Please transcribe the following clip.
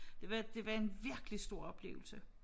Det var det var en virkelig stor oplevelse